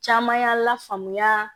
Caman y'a lafaamuya